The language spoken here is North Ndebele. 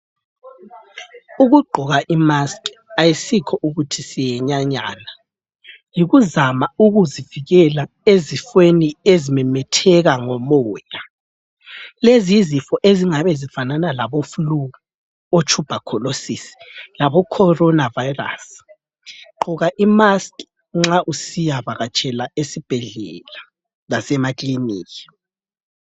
Ukugqoka imaskhi ayisikho ukuthi siyenyanyana yikuzama ukuzivikela ezifweni ezimemetheka ngomoya. Lezi yizifo ezingabe zifanana labo fulu, otshubhakholosisi labo khorona vayirasi gqoka imaskhi nxa usiya vakatshela esibhedlela lasemakiliniki.